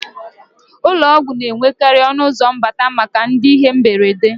Ụlọọgwụ na-enwekarì ọnụụzọ mbata maka ndị ihe mberede